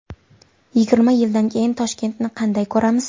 Yigirma yildan keyin Toshkentni qanday ko‘ramiz?